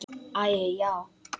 Æi, já.